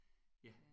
Ja